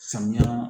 Samiya